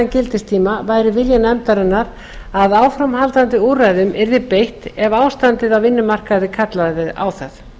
gildistíma væri vilji nefndarinnar að áframhaldandi úrræðum yrði beitt ef ástandið á vinnumarkaði kallaði á það